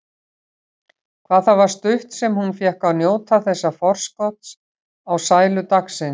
Hvað það var stutt sem hún fékk að njóta þessa forskots á sælu dagsins.